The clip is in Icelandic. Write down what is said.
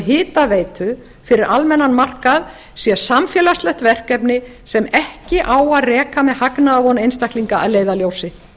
hitaveita fyrir almennan markað sé samfélagslegt verkefni sem ekki á að reka með með hagnaðarvon einstaklinga að leiðarljósi